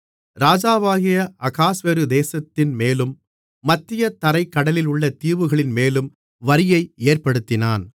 ராஜாவாகிய அகாஸ்வேரு தேசத்தின்மேலும் மத்திய தரைக் கடலிலுள்ள தீவுகளின்மேலும் வரியை ஏற்படுத்தினான்